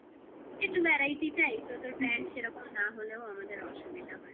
একটু variety চাই. তো তোর bag সেরকম না হলেও আমাদের অসুবিধা